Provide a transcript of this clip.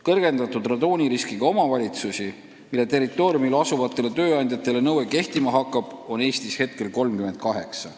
Kõrgendatud radooniriskiga omavalitsusi, mille territooriumil asuvatele tööandjatele nõue kehtima hakkab, on Eestis praegu 38.